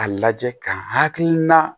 A lajɛ ka hakilina